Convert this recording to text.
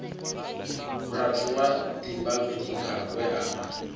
murathu wa dimbanyika we a